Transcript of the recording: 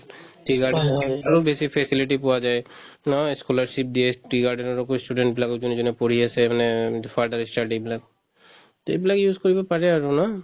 tea garden আৰু বেছি facility পোৱা যায় নহয় scholarship দিয়ে tea garden ৰ student বিলাকক যোনে যোনে পঢ়ি আছে মানে further ই study এইবিলাক তে এইবিলাক use কৰিব পাৰে আৰু ন